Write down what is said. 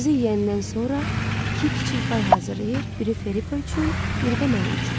Özü yeyəndən sonra iki kiçik pay hazırlayır, biri Felipo üçün, biri də mənim üçün.